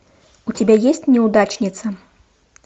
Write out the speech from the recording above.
у тебя есть неудачница